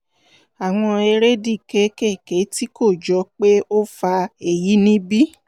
àwọn èrèdí kéékèèké tí kò jọ pé ó fa èyí níbí